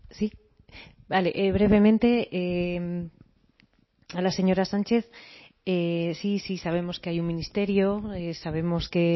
sí vale brevemente a la señora sánchez sí sí sabemos que hay un ministerio sabemos que